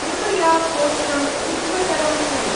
कृपया कोष्ठम् उज्ज्वतरं कुरु।